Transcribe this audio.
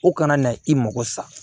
O kana na i mago sa